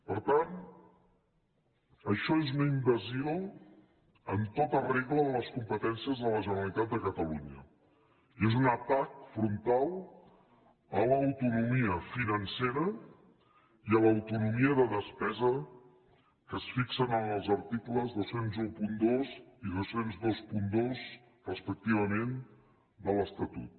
per tant això és una invasió en tota regla de les competències de la generalitat de catalunya i és un atac frontal a l’autonomia financera i a l’autonomia de despesa que es fixen en els articles dos mil dotze i dos mil vint dos respectivament de l’estatut